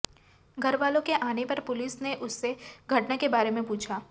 घर वालों के आने पर पुलिस ने उससे घटना के बारे में पूछा